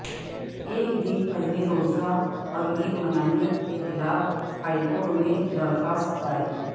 ایک دن پہلے روزہ اور عید منانے کے خلاف ہائیکورٹ میں درخواست دائر